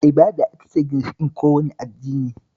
Ibada ita ce ginshiƙin kowane addini